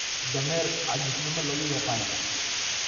Dameer caajisnimo lagu yaqaan.